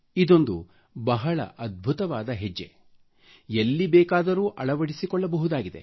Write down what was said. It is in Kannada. ಇದೊಂದು ಬಹಳ ಅದ್ಭುತವಾದ ಹೆಜ್ಜೆಯಾಗಿದೆ ಎಲ್ಲಿ ಬೇಕಾದರೂ ಅಳವಡಿಸಿಕೊಳ್ಳಬಹುದಾಗಿದೆ